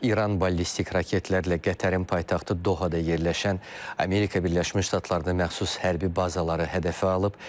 İran ballistik raketlərlə Qətərin paytaxtı Dohada yerləşən Amerika Birləşmiş Ştatlarına məxsus hərbi bazaları hədəfə alıb.